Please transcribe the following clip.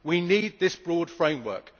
We need that broad framework.